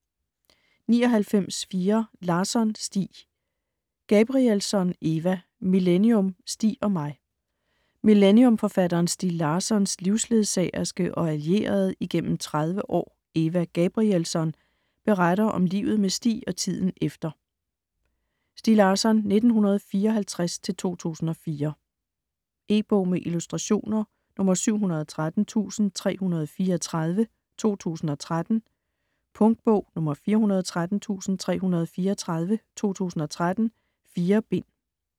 99.4 Larsson, Stieg Gabrielsson, Eva: Millennium - Stieg og mig Millennium-forfatteren Stieg Larssons (1954-2004) livsledsagerske og allierede igennem 30 år, Eva Gabrielsson, beretter om livet med Stieg og tiden efter. E-bog med illustrationer 713334 2013. Punktbog 413334 2013. 4 bind.